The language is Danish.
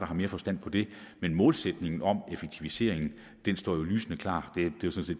har mere forstand på det men målsætningen om en effektivisering står jo lysende klar